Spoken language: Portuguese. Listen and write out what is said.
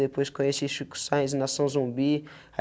Depois, conheci (esticuçais) Nação Zumbi.